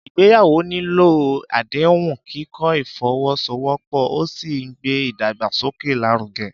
Ìgbéyàwó nílò àdéhùn, kíkọ́ ìfọwọ́sowọ́pọ̀, ó sì ń gbé ìdàgbàsókè lárugẹ.